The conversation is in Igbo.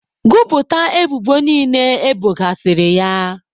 Gụpụta ebubo niile ebogasịrị ya!